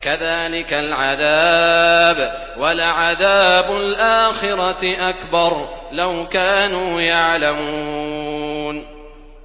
كَذَٰلِكَ الْعَذَابُ ۖ وَلَعَذَابُ الْآخِرَةِ أَكْبَرُ ۚ لَوْ كَانُوا يَعْلَمُونَ